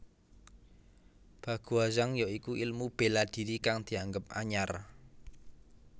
Baguazhang ya iku ilmu bela diri kang dianggep anyar